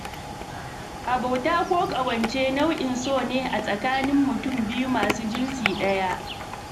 Abota ko ƙawance nau'in so ne a tsakanin mutum biyu masu jinsi ɗaya.